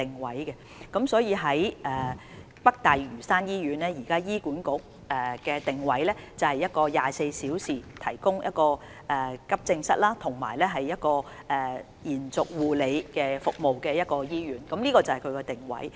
醫管局現時對北大嶼山醫院的定位，是一間提供24小時急症室服務及延續護理服務的醫院，這是該醫院的定位。